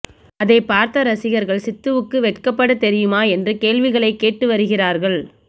அதைப் பார்த்த ரசிகர்கள் சித்துவுக்கு வெக்கபட தெரியுமா என்று கேள்விகளைக் கேட்டு வருகிறார்கள்